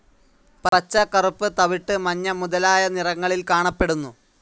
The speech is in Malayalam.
പച്ച, കറുപ്പ്, തവിട്ടു, മഞ്ഞ, മുതലായ നിറങ്ങളിൽ കാണപ്പെടുന്നു.